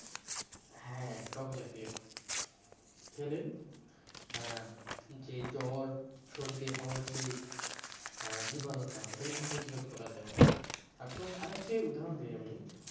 হ্যাঁ টক জাতীয় খেলে আহ যে জ্বর সর্দি হওয়ার যে আহ জীবাণুটা ওটা কিন্তু প্রতিরোধ করা যায়। আর তোমাকে আরেকটি উদাহরণ দি আমি